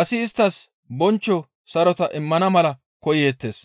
asi isttas bonchcho sarota immana mala koyeettes.